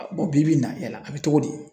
A Bɔn bi bi in na yala a be togo di